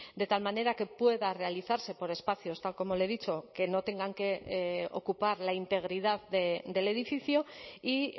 de tal manera que pueda realizarse por espacios tal como le he dicho que no tengan que ocupar la integridad del edificio y